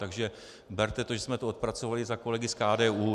Takže berte to, že jsme to odpracovali za kolegy z KDU.